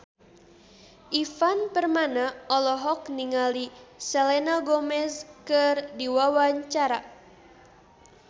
Ivan Permana olohok ningali Selena Gomez keur diwawancara